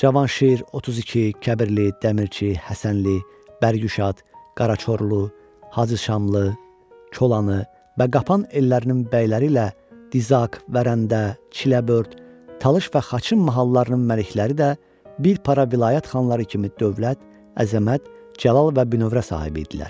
Cavanşir, Otuziki, Kəbirli, Dəmirçi, Həsənli, Bərgüşad, Qaraçorlu, HacıŞamlı, Kolanı və Qapan ellərinin bəyləri ilə Dizak, Vərəndə, Çiləbörd, Talış və Xaçın mahallarının məlikləri də bir para vilayət xanları kimi dövlət, əzəmət, cəlal və bünövrə sahibi idilər.